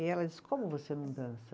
E ela disse, como você não dança?